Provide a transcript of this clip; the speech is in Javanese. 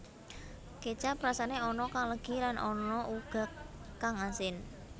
Kécap rasané ana kang legi lan ana uga kang asin